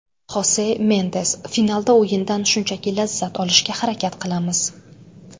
Xose Mendez: Finalda o‘yindan shunchaki lazzat olishga harakat qilamiz.